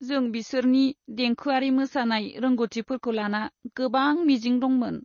जों बिसोरनि देंखोआरि मोसानाय रोंग'थिफोरखौ लाना गोबां मिजिं दंमोन।